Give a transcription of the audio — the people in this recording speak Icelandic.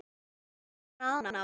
Við skulum hafa hraðann á.